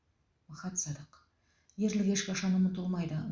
махат садық ерлік ешқашан ұмытылмайды